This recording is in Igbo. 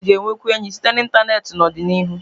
Ndị mmadụ ga-enwekwu enyi site na ịntanetị n'ọdịnihu